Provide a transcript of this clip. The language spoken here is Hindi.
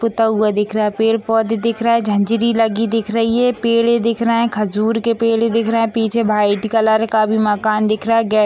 पूता हुआ दिख रहा है पेड़ पौधे दिख रहा है। झंझरी लगी दिख रही है पेड़ेें दिख रहे हैं खजूर के पेड़े दिख रहे हैं पीछे वाइट कलर का भी मकान दिख रहा है | गै --